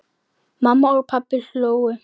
Mamma og pabbi hlógu.